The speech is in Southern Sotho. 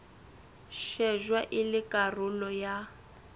shejwa e le karolo ya